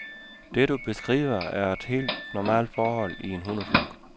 Det, du beskriver, er et helt normalt forhold i en hundeflok.